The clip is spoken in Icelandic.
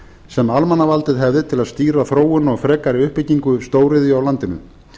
sem almannavaldið hefði til að stýra þróun og frekari uppbyggingu stóriðju á landinu